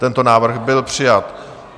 Tento návrh byl přijat.